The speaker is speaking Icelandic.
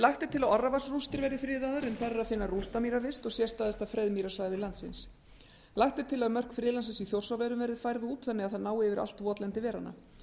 lagt er til að orravatnsrústir verði friðaðar en þar er að finna rústamýravist og sérstæðasta freðmýrasvæði landsins lagt er til að mörk friðlandsins í þjórsárverum verði færð út þannig að það nái yfir allt votlendi veranna